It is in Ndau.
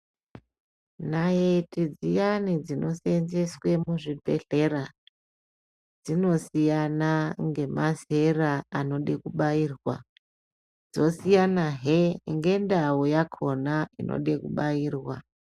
Naiti dziyani dzinosenzweswe muzvibhedhlera dzinosiyana ngemazera anoda kubairwa dzosiyanahe ngendau yakona inode kubairwa .